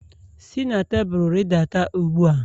Si na tebụl rịdata ugbu a!